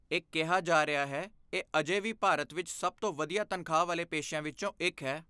ਇਹ ਕਿਹਾ ਜਾ ਰਿਹਾ ਹੈ, ਇਹ ਅਜੇ ਵੀ ਭਾਰਤ ਵਿੱਚ ਸਭ ਤੋਂ ਵਧੀਆ ਤਨਖਾਹ ਵਾਲੇ ਪੇਸ਼ਿਆਂ ਵਿੱਚੋਂ ਇੱਕ ਹੈ।